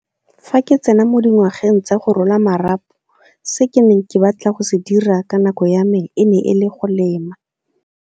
Fa ke tsena mo dingwageng tsa go rola marapo se ke neng ke batla go se dira ka nako ya me e ne e le go lema.